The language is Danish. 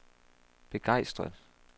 begejstret